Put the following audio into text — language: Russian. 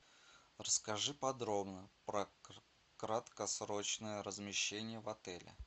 расскажи подробно про краткосрочное размещение в отеле